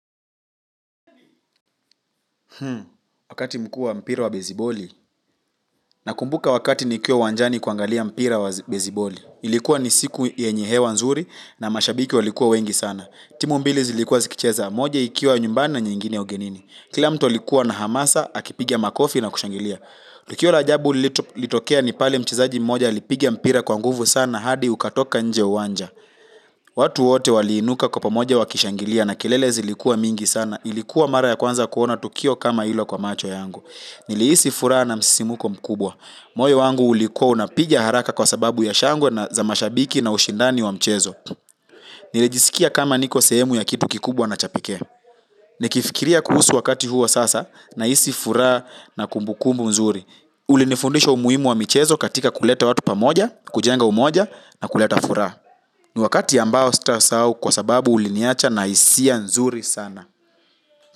Hmm, wakati mkuu wa mpira wa beziboli, na kumbuka wakati nikiwa uwanjani kuangalia mpira wa beziboli. Ilikuwa ni siku yenye hewa nzuri na mashabiki walikuwa wengi sana. Timu mbili zilikuwa zikicheza, moja ikiwa nyumbani nyingine ugenini. Kila mtu alikuwa na hamasa, akipiga makofi na kushangilia. Tukio la ajabu lilitokea ni pale mchezaji mmoja, alipiga mpira kwa nguvu sana, hadi ukatoka nje ya uwanja. Watu wote waliinuka kwa pamoja wakishangilia na kelele zilikuwa mingi sana. Na ilikuwa mara ya kwanza kuona tukio kama hilo kwa macho yangu. Nilihisi furaha na msisimko mkubwa. Moyo wangu ulikuwa unapiga haraka kwa sababu ya shangwe za mashabiki na ushindani wa mchezo. Nilijisikia kama niko sehemu ya kitu kikubwa na cha pekee. Nikifikiria kuhusu wakati huo sasa nahisi furaha na kumbukumbu nzuri. Ulinifundisha umuhimu wa michezo katika kuleta watu pamoja, kujenga umoja na kuleta furaha. Ni wakati ambao sitasahau kwa sababu uliniacha na hisia nzuri sana.